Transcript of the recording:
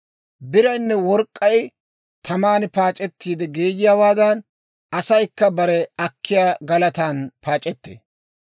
Biraynne work'k'ay taman paac'ettiide geeyiyaawaadan, asaykka bare akkiyaa galatan paac'ettee.